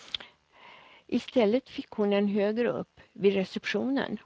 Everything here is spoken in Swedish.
I stället fick hon en högre upp, vid receptionen.